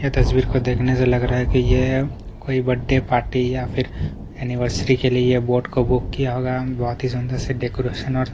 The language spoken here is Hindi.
यह तस्वीर को लिखने से लग रहा है कि ये कोई बर्थडे पार्टी या फिर एनिवर्सरी के लिए ये बोर्ड को बुक किया होगा बोहोत ही सुंदर से डेकोरेशन और --